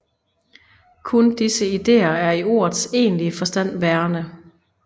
Kun disse ideer er i ordets egentlige forstand værende